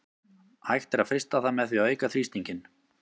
Hægt er að frysta það með því að auka þrýstinginn.